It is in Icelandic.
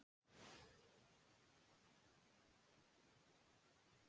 Svo hafi hópur Þingeyinga sest þar að í leyfisleysi og byggt sér bæi.